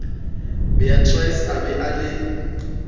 beatrice a be a le